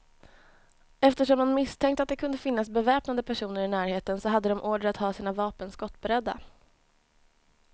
Eftersom man misstänkte att det kunde finnas beväpnade personer i närheten, så hade de order att ha sina vapen skottberedda.